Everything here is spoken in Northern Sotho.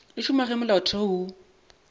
di šoma ge molaotheo wo